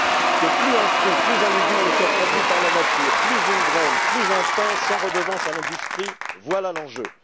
Que plus un fruit ou un légume ne soit produit par la nature, plus une graine, plus un pain sans redevance à l'industrie voilà l'enjeu.